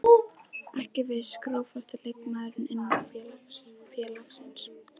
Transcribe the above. Ekki viss Grófasti leikmaður innan félagsins?